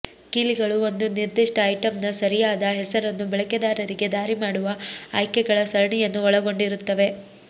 ಕೀಲಿಗಳು ಒಂದು ನಿರ್ದಿಷ್ಟ ಐಟಂನ ಸರಿಯಾದ ಹೆಸರನ್ನು ಬಳಕೆದಾರರಿಗೆ ದಾರಿ ಮಾಡುವ ಆಯ್ಕೆಗಳ ಸರಣಿಯನ್ನು ಒಳಗೊಂಡಿರುತ್ತವೆ